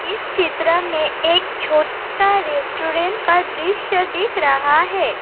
इस चित्र में एक छोटा रेस्टोरेंट का दृश्य दिख रहा है।